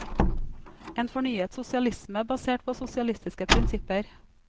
En fornyet sosialisme basert på sosialistiske prinsipper.